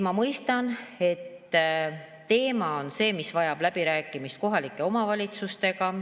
Ma mõistan, et see teema vajab läbirääkimist kohalike omavalitsustega.